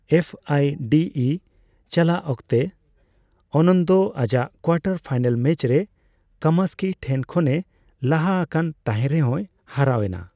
F I D E ᱪᱟᱞᱟᱜ ᱚᱠᱛᱮ, ᱟᱱᱚᱱᱫᱚ ᱟᱡᱟᱜ ᱠᱳᱣᱟᱴᱟᱨ ᱯᱷᱟᱭᱱᱟᱞ ᱢᱮᱪ ᱨᱮ ᱠᱟᱢᱥᱠᱤ ᱴᱷᱮᱱ ᱠᱷᱚᱱᱮ ᱞᱟᱦᱟ ᱟᱠᱟᱱ ᱛᱟᱸᱦᱮ ᱨᱮᱦᱚᱸᱭ ᱦᱟᱨᱟᱣ ᱮᱱᱟ ᱾